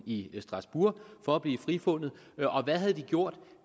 i strasbourg for at blive frifundet og hvad havde de gjort